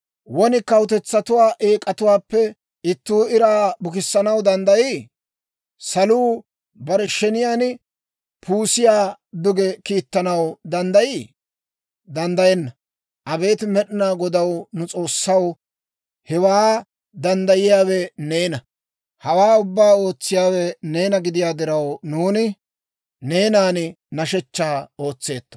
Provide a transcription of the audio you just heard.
Won kawutetsatuwaa eek'atuwaappe ittuu iraa bukissanaw danddayii? Saluu bare sheniyaan puusiyaa duge kiittanaw danddayii? Danddayenna! Abeet Med'inaa Godaw, nu S'oossaw, hewaa danddayiyaawe neena! Hawaa ubbaa ootsiyaawe neena gidiyaa diraw, nuuni neenan nashshechchaa ootseetto.